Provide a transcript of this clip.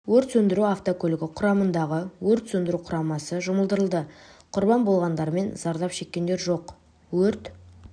өрт сөндіру автокөлігі құрамындағы өрт сөндіру құрамасы жұмылдырылды құрбан болғандар мен зардап шеккендер жоқ өрт